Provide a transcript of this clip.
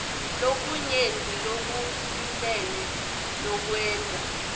lokunyenti lokusilele lokwenta